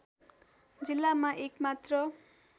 जिल्लामा एक मात्र